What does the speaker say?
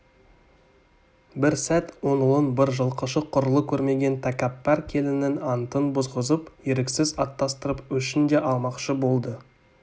бір сәт он ұлын бір жылқышы құрлы көрмеген тәкаппар келінін антын бұзғызып еріксіз аттастырып өшін де алмақшы болды